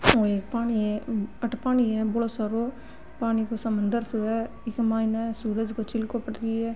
ओ एक पानी है अठे पानी है बड़ो सारो पानी को समुन्दर सो है इके मायने सूरज को चिलको पड़ री है।